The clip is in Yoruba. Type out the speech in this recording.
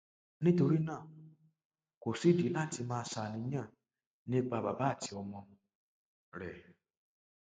nítorí náà kò sídìí láti máa ṣàníyàn nípa bàbá àti ọmọ rẹ